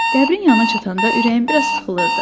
Qəbrin yanına çatanda ürəyim biraz sıxılırdı.